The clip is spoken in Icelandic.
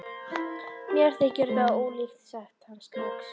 Mér þykir það ólíklegt sagði hann loks.